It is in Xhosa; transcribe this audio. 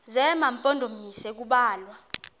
zema mpondomise kubalwa